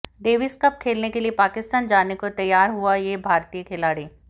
Davis Cup खेलने के लिए पाकिस्तान जाने को तैयार हुआ ये भारतीय खिलाड़ी